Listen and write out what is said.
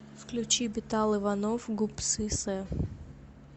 включи бетал иванов гупсысэ